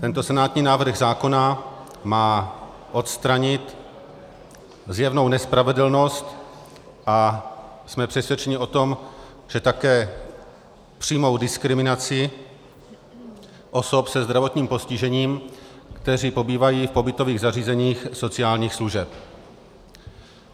Tento senátní návrh zákona má odstranit zjevnou nespravedlnost a jsme přesvědčeni o tom, že také přímou diskriminaci osob se zdravotním postižením, které pobývají v pobytových zařízeních sociálních služeb.